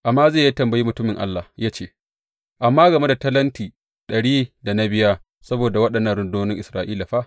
Amaziya ya tambayi mutumin Allah ya ce, Amma game da talenti ɗarin da na biya saboda waɗannan rundunonin Isra’ila fa?